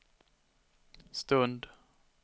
stund